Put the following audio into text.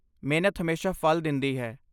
ਮਿਹਨਤ ਹਮੇਸ਼ਾ ਫਲ ਦਿੰਦੀ ਹੈ।